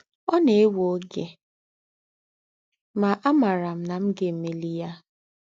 Ọ̀ nà-èwé ógé, mà àmáárá m nà m̀ gà-èmélí yá.